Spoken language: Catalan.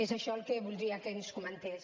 és això el que voldria que ens comentés